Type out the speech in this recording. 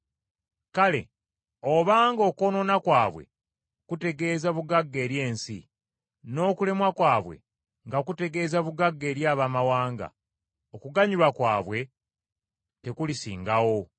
Kale obanga okwonoona kwabwe kutegeeza bugagga eri ensi, n’okulemwa kwabwe nga kutegeeza bugagga eri Abaamawanga, okuganyulwa kwabwe tekulisingawo!